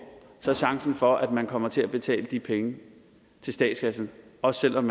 er chancen for at man kommer til at betale de penge til statskassen og selv om